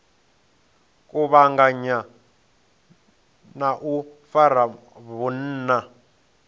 kuvhanganya na u fara vhunna